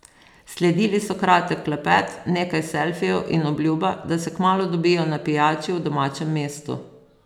Sledili so kratek klepet, nekaj selfijev in obljuba, da se kmalu dobijo na pijači v domačem mestu.